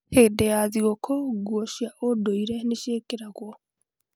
Hĩndĩ ya thigũkũ, nguo cia ũndũire nĩ ciĩkĩragwo.